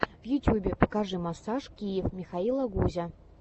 в ютьюбе покажи массаж киев михаила гузя